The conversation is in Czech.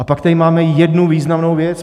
A pak tady máme jednu významnou věc.